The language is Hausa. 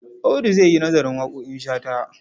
Audu za yi nazarin waƙoƙin Shata.